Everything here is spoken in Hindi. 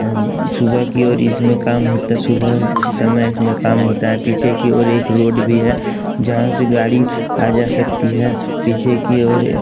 एम सुबह की ओर इसमें काम होता है सुबह के समय इसमें काम होता है पीछे की ओर एक रोड भी है जहाँ से गाड़ी आ जा सकती है पीछे की ओर --